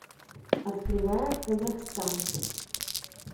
открывая казахстан